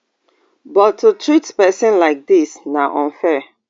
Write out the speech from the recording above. but to treat pesin like dis na unfair